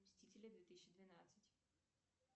мстители две тысячи двенадцать